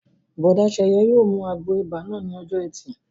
Bùrọ̀dá Sẹ̀yẹ yóò mu àgbo ibà náà ní ọjọ́ ẹtì